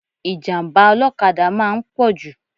Ìjàm̀bá ọlọ́kada máa ń pọ̀jù